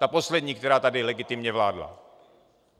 Ta poslední, která tady legitimně vládla.